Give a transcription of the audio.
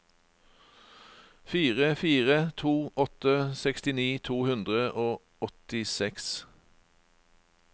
fire fire to åtte sekstini to hundre og åttiseks